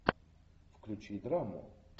включи драму